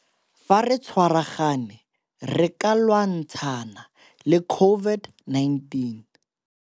Fa re tshwaragane re ka lwantshana le COVID-19.